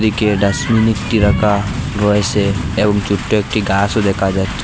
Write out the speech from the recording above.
একি ডাস্টবিন একটি রাখা রয়েছে এবং ছোট্ট একটি গাছও দেখা যাচ্ছে।